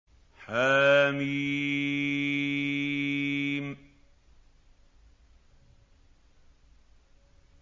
حم